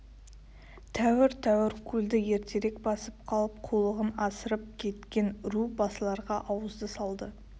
тәуір-тәуір көлді ертерек басып қалып қулығын асырып кеткен ру басыларға ауызды салды